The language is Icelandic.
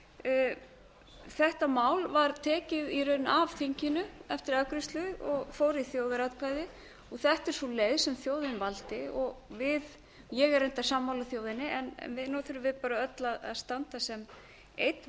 lappirnar þetta mál var tekið af þinginu eftir afgreiðslu og fór í þjóðaratkvæðagreiðslu þetta er sú leið sem þjóðin valdi ég er reyndar sammála þjóðinni en nú þurfum við öll að standa sem einn